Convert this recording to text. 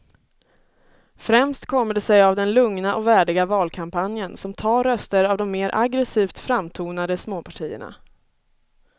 Främst kommer det sig av den lugna och värdiga valkampanjen som tar röster av de mer aggresivt framtonade småpartierna.